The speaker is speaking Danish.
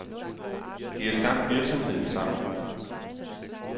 De har skabt virksomheden sammen.